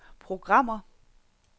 programmer